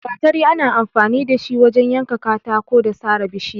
Gatari ana amfani da shi wajen yanka katako da sare bishiya.